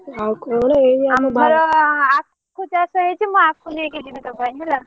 ଆଉ କଣ? ଏଇ ଆମର ଆଖୁ ଚାଷ ହେଇଛି ମୁଁ ଆଖୁ ନେଇକି ଯିବି ତୋ ପାଇଁ ହେଲା।